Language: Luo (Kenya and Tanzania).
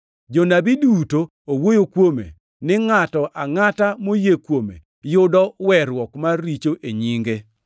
Jonabi duto owuoyo kuome ni ngʼato angʼata moyie kuome yudo weruok mar richo e nyinge.”